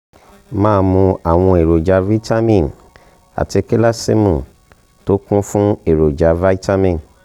máa mu àwọn èròjà vitamin àti kálísìììmù tó kún fún èròjà vitamin